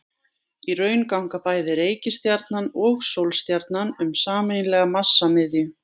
Í raun ganga bæði reikistjarnan og sólstjarnan um sameiginlega massamiðju.